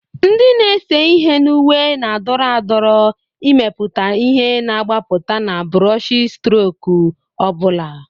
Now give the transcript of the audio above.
Ndị na-ese ihe na uwe na-adọrọ adọrọ, imepụta ihe na-agbapụta na buroshistroku ọ bụla.